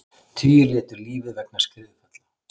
Tugir létu lífið vegna skriðufalla